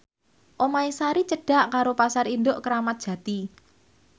omahe Sari cedhak karo Pasar Induk Kramat Jati